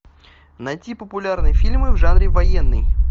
найти популярные фильмы в жанре военный